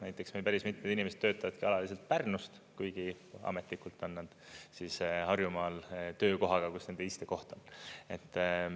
Näiteks meil päris mitmed inimesed töötavadki alaliselt Pärnust, kuigi ametlikult on nad siis Harjumaal töökohaga, kus nende istekoht on.